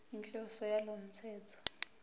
inhloso yalo mthetho